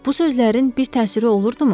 Bu sözlərin bir təsiri olurdu mu?